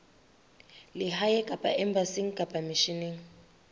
lehae kapa embasing kapa misheneng